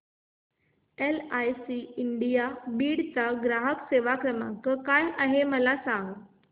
LIC India Beed चा ग्राहक सेवा क्रमांक काय आहे मला सांग